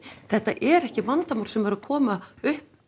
þetta er ekki vandamál sem er að koma upp